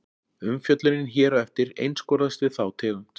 Umfjöllunin hér á eftir einskorðast við þá tegund.